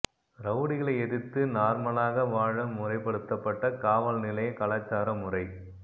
ரவுடிகளை எதிர்த்து நார்மலாக வாழ முறைபடுத்தப்பட்ட காவல் நிலைய கலாச்சார முறை